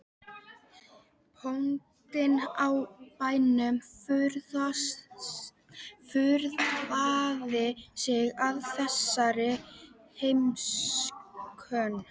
Bóndinn á bænum furðaði sig á þessari heimsókn.